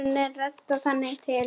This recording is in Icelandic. Málunum er reddað þangað til.